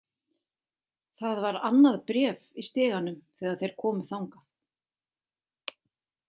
Það var annað bréf í stiganum þegar þeir komu þangað.